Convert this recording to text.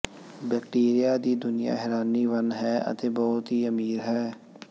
bacteria ਦੀ ਦੁਨੀਆ ਹੈਰਾਨੀ ਵੰਨ ਹੈ ਅਤੇ ਬਹੁਤ ਹੀ ਅਮੀਰ ਹੈ